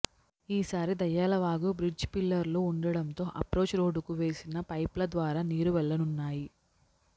ఈ సారి దయ్యాల వాగు బ్రిడ్జి పిల్లర్లు ఉండడంతో అప్రోచ్ రోడ్డుకు వేసిన పైప్ల ద్వారా నీరు వెళ్లనున్నాయి